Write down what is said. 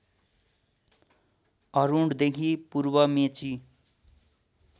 अरुणदेखि पूर्व मेची